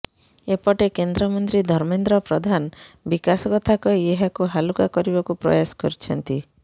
ଏପଟେ କେନ୍ଦ୍ରମନ୍ତ୍ରୀ ଧର୍ମେନ୍ଦ୍ର ପ୍ରଧାନ ବିକାଶ କଥା କହି ଏହାକୁ ହାଲୁକା କରିବାକୁ ପ୍ରୟାସ କରିଛନ୍ତି